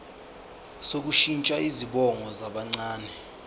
sokushintsha izibongo zabancane